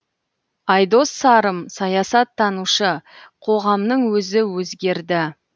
айдос сарым саясаттанушы қоғамның өзі өзгерді